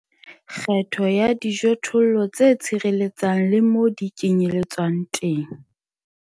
Kgetho ya dijothollo tse tshireletsang le moo di kenyeletsang teng.